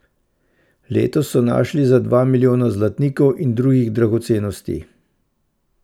Letos so našli za dva milijona zlatnikov in drugih dragocenosti.